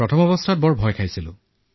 প্ৰথমে খুব ভয় খাইছিলো